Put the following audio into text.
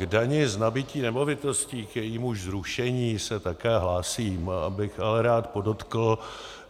K dani z nabytí nemovitostí, k jejímuž zrušení se také hlásím, bych ale rád podotkl,